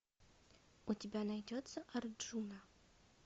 у тебя найдется арджуна